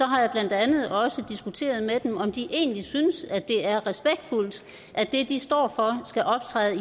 har jeg blandt andet også diskuteret med dem om de egentlig synes at det er respektfuldt at det de står for skal optræde